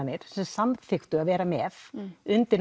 sem samþykktu að vera með undir